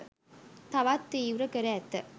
තවත් තීව්‍ර කර ඇත